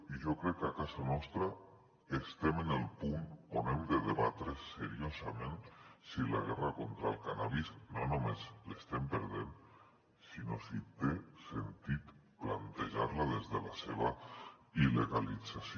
i jo crec que a casa nostra estem en el punt on hem de debatre seriosament si la guerra contra el cànnabis no només l’estem perdent sinó si té sentit plantejar la des de la seva il·legalització